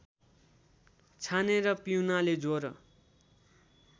छानेर पिउनाने ज्वरो